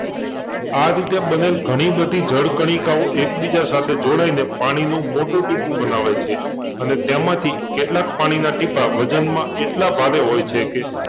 આ રીતે બનેલ ઘણી બધી જળ કણિકાઓ એકબીજા સાથે જોડાઈને પાણીનું મોટું ટીપું બનાવે છે અને તેમાંથી કેટલાક પાણીના ટીપાં વજનમાં એટલા ભારે હોય છે કે